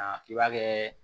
I b'a kɛ